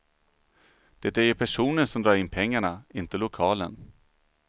Det är ju personen som drar in pengarna, inte lokalen.